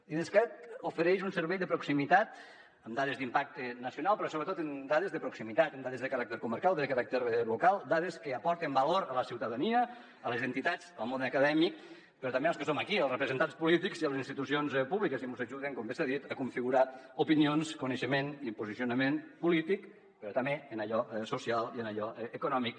l’idescat ofereix un servei de proximitat amb dades d’impacte nacional però sobretot amb dades de proximitat amb dades de caràcter comarcal de caràcter local dades que aporten valor a la ciutadania a les entitats al món acadèmic però també als que som aquí als representants polítics i a les institucions públiques i mos ajuden com bé s’ha dit a configurar opinions coneixement i posicionament polític però també en allò social i en allò econòmic